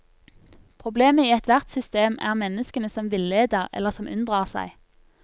Problemet i ethvert system er menneskene som villeder, eller som unndrar seg.